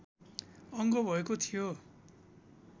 अङ्ग भएको थियो